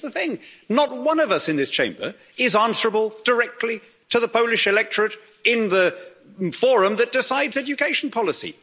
But here's the thing not one of us in this Chamber is answerable directly to the Polish electorate in the forum that decides education policy.